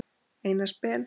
Einars Ben.